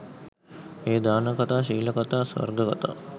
එය දාන කථා, ශීල කථා, ස්වර්ග කථා,